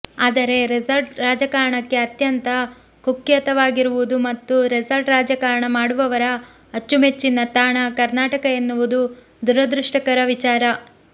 ಆದರೆ ರೆಸಾರ್ಟ್ ರಾಜಕಾರಣಕ್ಕೆ ಅತ್ಯಂತ ಕುಖ್ಯತವಾಗಿರುವುದು ಮತ್ತು ರೆಸಾರ್ಟ್ ರಾಜಕಾರಣ ಮಾಡುವವರ ಅಚ್ಚುಮೆಚ್ಚಿನ ತಾಣ ಕರ್ನಾಟಕ ಎನ್ನುವುದು ದುರದೃಷ್ಟಕರ ವಿಚಾರ